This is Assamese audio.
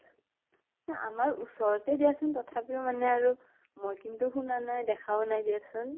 না আমাৰ ওচৰতে দিয়া চোন, তথাপিও মানে আৰু মই কিন্তু শুনাও নাই দেখাও নাই দিয়া চোন ।